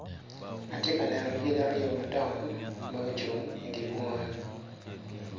Atye ka neno lyeci madongo aryo ma gucung i dye bunga